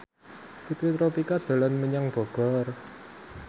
Fitri Tropika dolan menyang Bogor